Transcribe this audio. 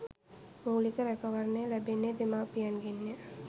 මූලික රැකවරණය ලැබෙන්නේ දෙමාපියන්ගෙන් ය.